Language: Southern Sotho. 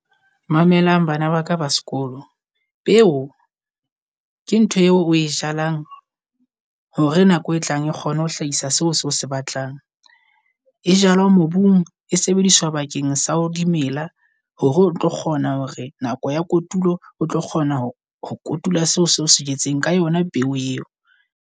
Mamelang bana baka ba sekolo. Peo ke ntho eo o e jalang hore nako e tlang e kgone ho hlahisa seo o se batlang. E jalo mobung e sebediswa bakeng sa ho dimela. Hore o tlo kgona hore nako ya kotulo o tlo kgona ho kotula seo seo se jetseng ka yona peo eo.